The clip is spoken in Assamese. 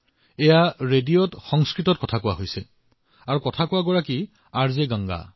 এই ৰেডিঅত সংস্কৃতত আলোচনা কৰা হৈছে আৰু যিসকলে কথা কৈ আছে সেয়া হল আৰ জে গংগা